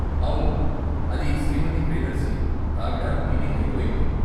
అవును, అది శ్రీమతి ప్రియదర్శిని, ఆవిడ మీటింగ్ అయిపొయింది.